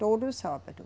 Todo sábado.